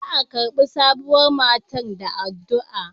Za a karbi sabuwar matar da addu'a.